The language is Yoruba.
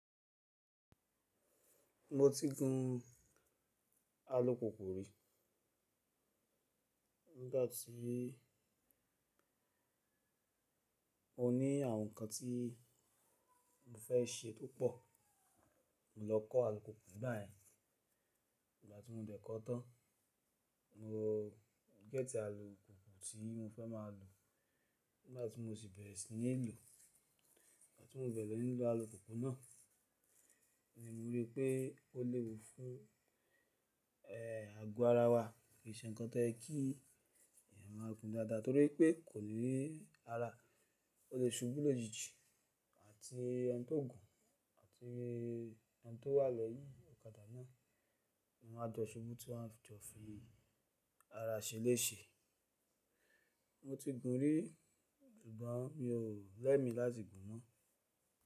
Mo ti gun alùpùpù rí. Nígbà tí oní àwọn ǹkan tí mo fẹ́ ṣe tó pọ̀, mo lọ kọ́ alùpùpù nígba yẹ̀n. Nígbà tí mo dẹ̀ kọ́ọ́ tán, mo gẹ́tì alùpùpù tí mo fẹ́ máa lò. Nígbà tí mo sì bẹ̀rẹ̀ sí ní lò, nígbà tí mo bẹ̀rẹ̀ lọ́ní lò alùpùpù náà ni mo rí pé ó léwu fún ẹ, àgọ́ ara wa. Kì í ṣe ǹkan tó ẹ́ kí èèyàn máa gun dáadáa torí pé kò ní ní ara. Ó lè ṣubú lójijì àti eni tó gùn àti eni tó wà lẹ́yìn ọ̀kadà náà. Wọn áa jọ ṣubú tí wọ́n bá jọ fi ara ṣeléṣe. Mo ti gun rí, sugbọ́n mi ò lẹ́mi láti gun mọ́.